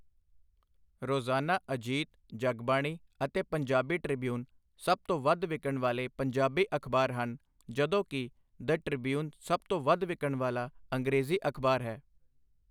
ਰੋਜ਼ਾਨਾ ਅਜੀਤ, ਜਗਬਾਣੀ ਅਤੇ ਪੰਜਾਬੀ ਟ੍ਰਿਬਿਊਨ ਸਭ ਤੋਂ ਵੱਧ ਵਿਕਣ ਵਾਲੇ ਪੰਜਾਬੀ ਅਖ਼ਬਾਰ ਹਨ, ਜਦੋਂ ਕਿ ਦਿ ਟ੍ਰਿਬਿਊਨ ਸਭ ਤੋਂ ਵੱਧ ਵਿਕਣ ਵਾਲਾ ਅੰਗਰੇਜ਼ੀ ਅਖ਼ਬਾਰ ਹੈ।